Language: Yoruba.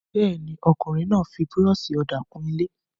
Bẹ́ẹ̀ ni, ọkùnrin náà fi búrọ́ṣì-ọ̀dà kun ilé.